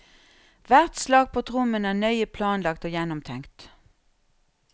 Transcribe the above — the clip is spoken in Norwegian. Hvert slag på trommene er nøye planlagt og gjennomtenkt.